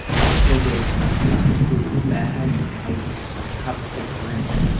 Gobol kastaa wuxuu u baahan yahay hab ka duwan.